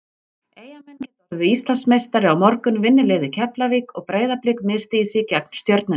Eyjamenn geta orðið Íslandsmeistari á morgun vinni liðið Keflavík og Breiðablik misstígi sig gegn Stjörnunni.